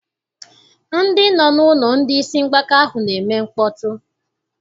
Ndị nọ n'ụlọ ndị isi mgbaka ahụ na-eme mkpọtụ.